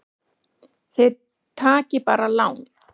Þeir taki bara lán.